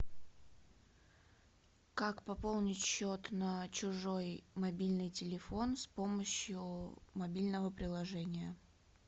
как пополнить счет на чужой мобильный телефон с помощью мобильного приложения